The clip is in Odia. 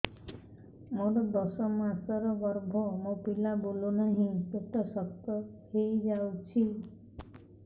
ମୋର ଦଶ ମାସର ଗର୍ଭ ମୋ ପିଲା ବୁଲୁ ନାହିଁ ପେଟ ଶକ୍ତ ହେଇଯାଉଛି